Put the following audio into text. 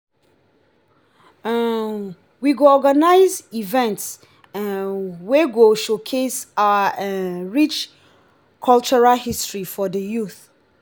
um we go organize events um wey go showcase our um rich cultural history for the youth.